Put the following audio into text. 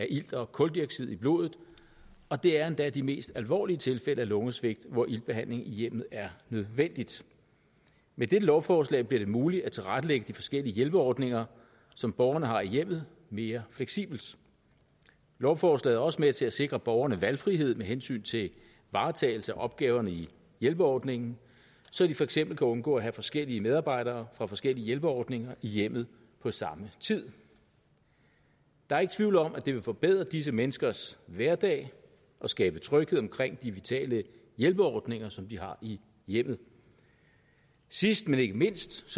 ilt og kuldioxid i blodet og det er endda de mest alvorlige tilfælde af lungesvigt hvor iltbehandling i hjemmet er nødvendig med dette lovforslag bliver det muligt at tilrettelægge de forskellige hjælperordninger som borgerne har i hjemmet mere fleksibelt lovforslaget er også med til at sikre borgerne valgfrihed med hensyn til varetagelse af opgaverne i hjælperordningen så de for eksempel kan undgå at have forskellige medarbejdere fra forskellige hjælperordninger i hjemmet på samme tid der er ikke tvivl om at det vil forbedre disse menneskers hverdag og skabe tryghed omkring de vitale hjælperordninger som de har i hjemmet sidst men ikke mindst